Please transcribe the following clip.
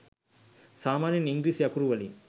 සාමාන්‍යයෙන් ඉංග්‍රීසි අකුරු වලින්